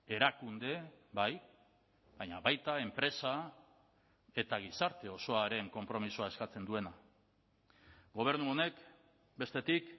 erakunde bai baina baita enpresa eta gizarte osoaren konpromisoa eskatzen duena gobernu honek bestetik